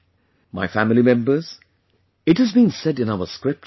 My family members, it has been said in our scriptures